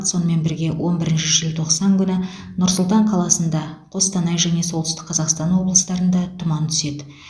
сонымен бірге он бірінші желтоқсан күні нұр сұлтан қаласында қостанай және солтүстік қазақстан облыстарында тұман түседі